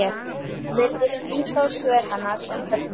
Virðist líta á svör hennar sem höfnun.